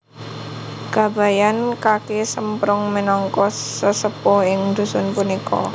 Kabayan Kaki Semprung minangka sesepuh ing dusun punika